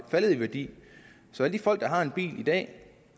faldet i værdi så de folk der har en bil i dag